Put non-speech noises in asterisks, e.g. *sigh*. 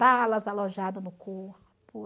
Balas alojada *unintelligible*